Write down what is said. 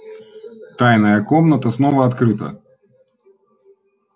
тайная комната снова открыта